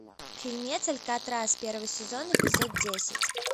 фильмец алькатрас первый сезон эпизод десять